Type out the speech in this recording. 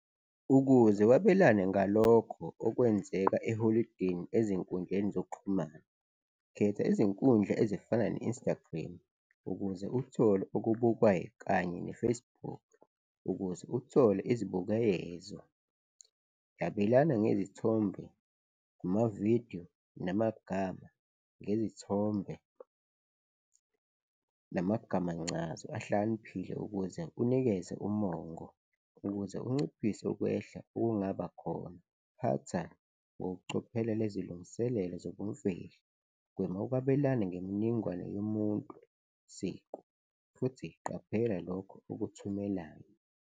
Ukuze wabelane ngalokho okwenzeka eholidini ezinkundleni zokuxhumana, khetha izinkundla ezifana ne-Instagram ukuze uthole ukubukwayi kanye ne-Facebook. Ukuze uthole izibukeyezo, yabelana ngezithombe kumavidiyo namagama, ngezithombe namagamancazo ahlakaniphile ukuze unikeze umongo. Ukuze unciphise ukwehla okungabakhona, phatha ngokucophelela izilungiselelo zobumfihlo, gwema ukwabelana ngemininingwane yomuntu siqu futhi qaphela lokho okuthumelayo.